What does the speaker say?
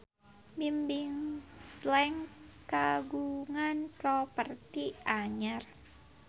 Bimbim Slank kagungan properti anyar